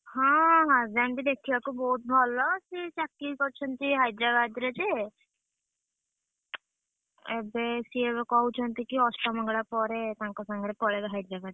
ହଁ husband ବି ଦେଖିବାକୁ ବୋହୁତ ଭଲ ସିଏ ଚାକିରି କରିଛନ୍ତି ହାଇଦ୍ରାବାଦରେ ଯେ, ଏବେ ସିଏ ଏବେ କହୁଛନ୍ତି କି ଅଷ୍ଟମଙ୍ଗଳା ପରେ ତାଙ୍କ ସାଙ୍ଗରେ ପଳେଇବେ ହାଇଦ୍ରାବାଦ।